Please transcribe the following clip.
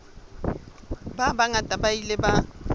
ba bangata ba ile ba